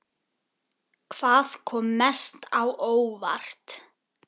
Hvað kom mest á óvart?